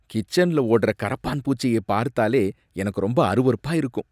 கிச்சன்ல ஓடுற கரப்பான் பூச்சியை பார்த்தாலே எனக்கு ரொம்ப அருவருப்பா இருக்கும்.